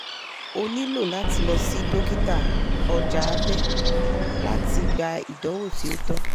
o nilo lati lọ si dokita (ọja abẹ) lati gba idanwo ti o tọ